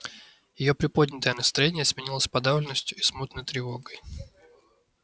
её приподнятое настроение сменилось подавленностью и смутной тревогой